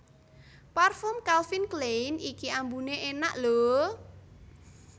Parfum Calvin Klein iki ambune enak lho